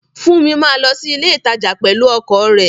Funmi máa lọ sí ilé ìtajà pẹ̀lú ọkọ̀ rẹ̀